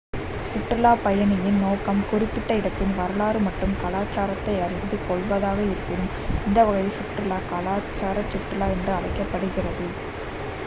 சுற்றுலாப் பயணியின் நோக்கம் குறிப்பிட்ட இடத்தின் வரலாறு மற்றும் கலாச்சாரத்தை அறிந்து கொள்வதாக இருப்பின் இந்த வகை சுற்றுலா கலாச்சார சுற்றுலா என்று அழைக்கப்படுகிறது